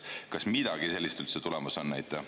Kas midagi sellist üldse tulemas on?